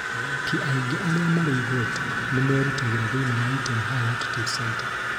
Athaki aingĩ arĩa marĩ igweta nĩ merutagĩra thĩinĩ wa Iten High Altitude Center.